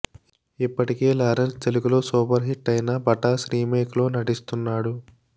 ఇప్పటికే లారెన్స్ తెలుగులో super hit అయిన పటాస్ రిమేక్ లో నటిస్తున్నాడు